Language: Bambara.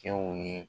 Cɛw ni